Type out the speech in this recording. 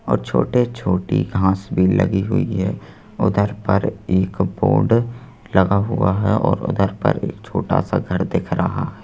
और छोटे-छोटी घास भी लगी हुई है उधर पर एक बोर्ड लगा हुआ है और उधर पर एक छोटा सा घर दिख रहा है।